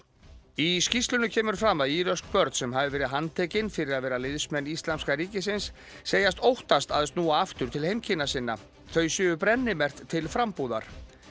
í skýrslunni kemur fram að íröksk börn sem hafi verið handtekin fyrir að vera liðsmenn Íslamska ríkisins segist óttast að snúa aftur til heimkynna sinna þau séu brennimerkt til frambúðar